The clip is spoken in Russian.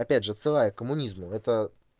опять же отсылая к коммунизму это